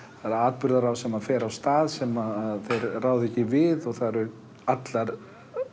það er atburðarás sem fer af stað sem þeir ráða ekki við og það eru allar